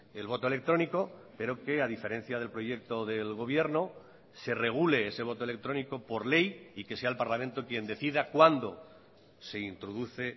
el voto electrónico pero que a diferencia del proyecto del gobierno se regule ese voto electrónico por ley y que sea el parlamento quien decida cuándo se introduce